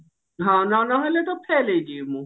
ହଁ ନ ନ ହେଲେ ତ fail ହେଇଯିବି ମୁଁ